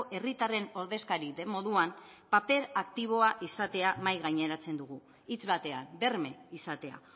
herritarren ordezkari den moduan paper aktiboa izatea mahai gaineratzen dugu hitz batean berme izatea